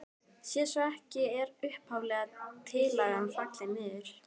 Sé svo ekki er upphaflega tillagan fallin niður.